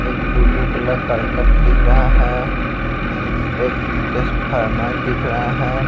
एक blue colour करकट दिख रहा है एक टेसफार्मर दिख रहा है।